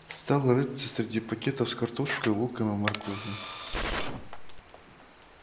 стал рыться среди пакетов с картошкой луком и морковью